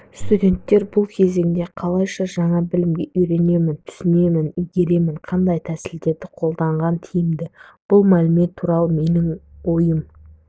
студенттер бұл кезеңде қалайша жаңа білімге үйренемін түсінемін игеремін қандай тәсілдерді қолданған тиімді бұл мәлімет туралы менің ойым